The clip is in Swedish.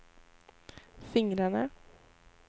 fingrarna